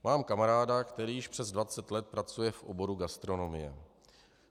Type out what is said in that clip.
Mám kamaráda, který již přes 20 let pracuje v oboru gastronomie.